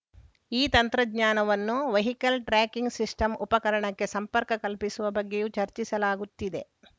ಈ ತಂತ್ರಜ್ಞಾನವನ್ನು vehicle tracking system ಉಪಕರಣಕ್ಕೆ ಸಂಪರ್ಕ ಕಲ್ಪಿಸುವ ಬಗ್ಗೆಯೂ ಚರ್ಚಿಸಲಾಗುತ್ತಿದೆ